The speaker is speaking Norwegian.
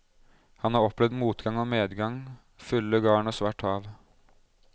Han har opplevd motgang og medgang, fulle garn og svart hav.